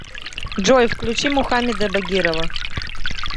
джой включи мухаммеда багирова